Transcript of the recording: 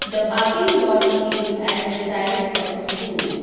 The parking lot is at the side of the school.